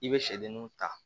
I bɛ sɛdenninw ta